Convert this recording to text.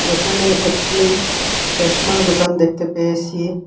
এখানে একটি চশমার দোকান দেখতে পেয়েসি।